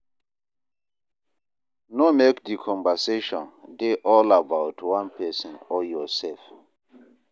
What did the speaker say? No make di conversation dey all about one person or yourself